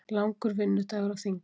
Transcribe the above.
Langur vinnudagur á þingi